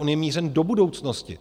On je mířen do budoucnosti.